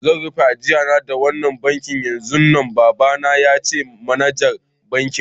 Zan rufe ajia na da wannan banki yanzun nan, baba na ya ce ma manajer bankin.